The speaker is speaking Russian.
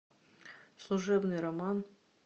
служебный роман